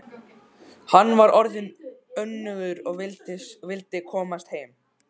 Hann var orðinn önugur og vildi komast heim.